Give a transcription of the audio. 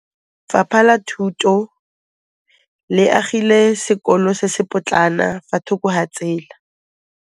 Lefapha la Thuto le agile sekôlô se se pôtlana fa thoko ga tsela.